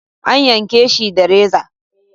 An yanke shi da reza.